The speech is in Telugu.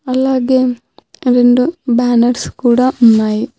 అలాగే రెండు బ్యానర్స్ కూడ ఉన్నాయి.